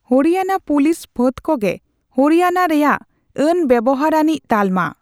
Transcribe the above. Haryana police ᱯᱷᱟᱹᱫᱽ ᱠᱚᱜᱮ ᱦᱚᱨᱤᱭᱟᱱᱟ ᱨᱮᱭᱟᱜ ᱟᱹᱱ ᱵᱮᱣᱦᱟᱨ ᱟᱹᱱᱤᱡ ᱛᱟᱞᱢᱟ ᱾